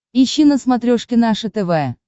ищи на смотрешке наше тв